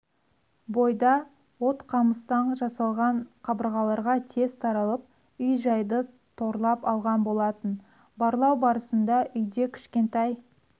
бойда от қамыстан жасалған қабырғаларға тез таралып үй-жайды торлап алған болатын барлау барысында үйде кішкентай